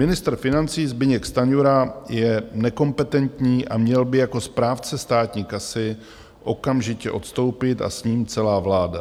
Ministr financí Zbyněk Stanjura je nekompetentní a měl by jako správce státní kasy okamžitě odstoupit a s ním celá vláda.